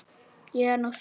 Ég er nú þung.